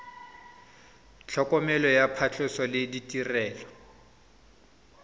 tlhokomelo ya phatlhoso le ditirelo